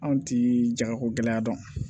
Anw ti jagako gɛlɛy'a dɔn